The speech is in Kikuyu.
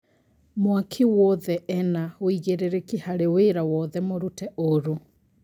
Mwaaki wothe ena wĩigĩrĩrĩki harĩ wĩra wothe mũrute ũũrũ